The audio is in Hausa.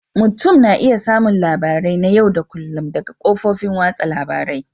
Mutum na iya samun labarai na yau da kullun daga kafofin watsa labarun